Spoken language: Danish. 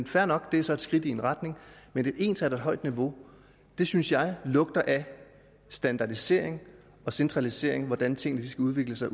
fair nok det er så et skridt i en retning men et ensartet højt niveau synes jeg lugter af standardisering og centralisering af hvordan tingene skal udvikle sig